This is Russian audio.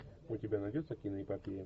у тебя найдется киноэпопея